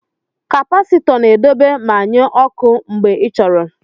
Kapasitọ na-edobe ma nye ọkụ mgbe ị chọrọ.